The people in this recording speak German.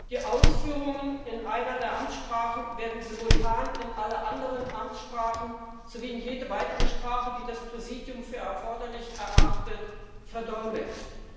Die Ausführungen in einer der Amtssprachen werden simultan in alle anderen Amtssprachen sowie in jede weitere Sprache, die das Präsidium für erforderlich erachtet, verdolmetscht.